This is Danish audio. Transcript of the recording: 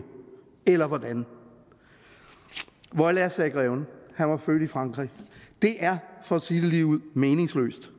eller hvordan voila sagde greven han var født i frankrig det er for at sige det ligeud meningsløst